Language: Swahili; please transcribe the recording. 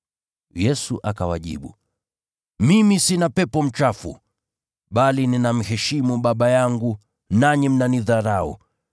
Yesu akawajibu, “Mimi sina pepo mchafu, bali ninamheshimu Baba yangu, nanyi mnanidharau.